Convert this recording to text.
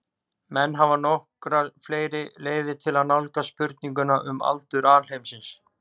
Menn hafa nokkrar fleiri leiðir til að nálgast spurninguna um aldur alheimsins.